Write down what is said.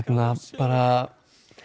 bara